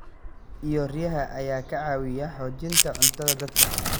iyo riyaha ayaa ka caawiya xoojinta cuntada dadka.